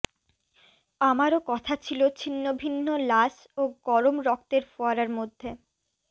আমারও কথা ছিল ছিন্নভিন্ন লাশ ও গরম রক্তের ফোয়ারার মধ্যে